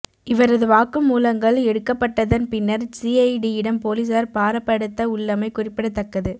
இவரது வாக்குமூலங்கள் எடுக்கப்பட்டதன் பின்னர் சிஐடியிடம் பொலிசார் பாரப்படுத்த உள்ளமை குறிப்பிடத்தக்கது